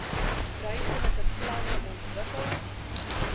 ruimtelike planne ontwikkel